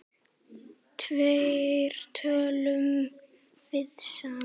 Hvernig tölum við saman?